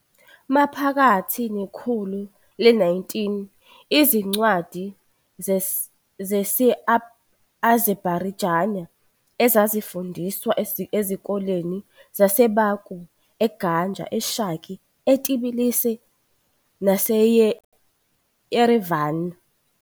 Maphakathi nekhulu le-19, izincwadi zesi-Azerbaijani zazifundiswa ezikoleni zaseBaku, eGanja, eShaki, eTbilisi naseYerevan.